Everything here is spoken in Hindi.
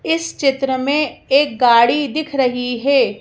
इस चित्र में एक गाड़ी दिख रही है।